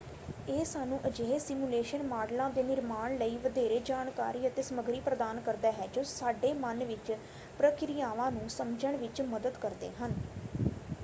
ਇਹ ਸਾਨੂੰ ਅਜਿਹੇ ਸਿਮੂਲੇਸ਼ਨ ਮਾੱਡਲਾਂ ਦੇ ਨਿਰਮਾਣ ਲਈ ਵਧੇਰੇ ਜਾਣਕਾਰੀ ਅਤੇ ਸਮੱਗਰੀ ਪ੍ਰਦਾਨ ਕਰਦਾ ਹੈ ਜੋ ਸਾਡੇ ਮਨ ਵਿੱਚ ਪ੍ਰਕਿਰਿਆਵਾਂ ਨੂੰ ਸਮਝਣ ਵਿੱਚ ਮਦਦ ਕਰਦੇ ਹਨ।